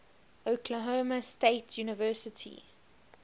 oklahoma state university